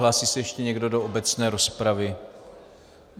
Hlásí se ještě někdo do obecné rozpravy?